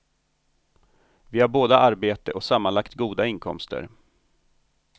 Vi har båda arbete och sammanlagt goda inkomster.